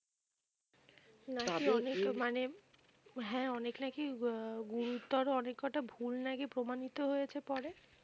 হ্যাঁ অনেক নাকি আহ গুরুতর অনেককটা ভুল নাকি প্রমাণিত হয়েছে পরে?